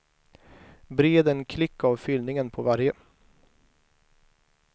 Bred en klick av fyllningen på varje.